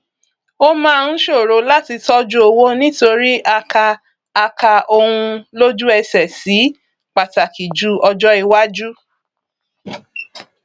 ó máa ń ṣòro láti tọjú owó nítorí a kà a kà ohun lójúẹsẹ sí pàtàkì ju ọjọ iwájú